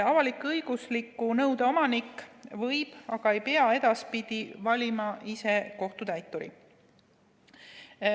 Avalik-õigusliku nõude omanik võib edaspidi valida ise kohtutäituri, aga ta ei pea valima.